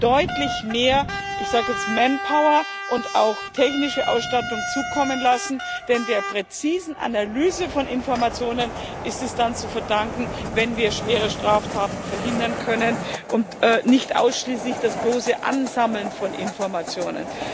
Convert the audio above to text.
deutlich mehr manpower und auch technische Ausstattung zukommen lassen, denn der präzisen Analyse von Informationen ist es zu verdanken, wenn wir schwere Straftaten verhindern können, und nicht ausschließlich dem bloßen Ansammeln von Informationen.